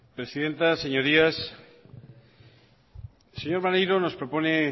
presidenta señorías el señor maneiro nos propone